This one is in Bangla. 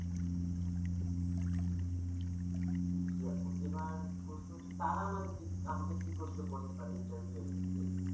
জি আপু এবার প্রশ্ন হচ্ছে তারা আমাকে কি প্রশ্ন করতে পারে interview এর ক্ষেত্রে?